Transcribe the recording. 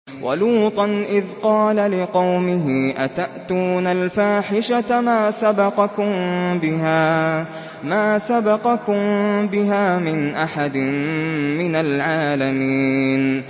وَلُوطًا إِذْ قَالَ لِقَوْمِهِ أَتَأْتُونَ الْفَاحِشَةَ مَا سَبَقَكُم بِهَا مِنْ أَحَدٍ مِّنَ الْعَالَمِينَ